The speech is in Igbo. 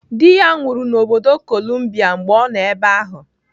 Dị ya nwụrụ n'obodo Kolumbia mgbe ọ nọ ebe ahụ.